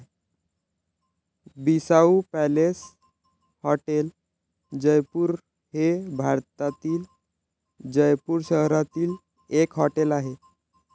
Bissau palace hotel, Jaipur हे भारतातील जयपूर शहरातील एक हॉटेल आहे.